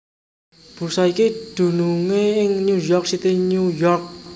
Bursa iki dunungé ing New York City New York